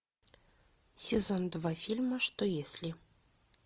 сезон два фильма что если